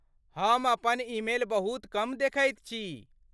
हम अपन ईमेल बहुत कम देखैत छी।